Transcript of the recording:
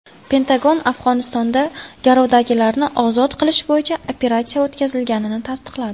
Pentagon Afg‘onistonda garovdagilarni ozod qilish bo‘yicha operatsiya o‘tkazilganini tasdiqladi.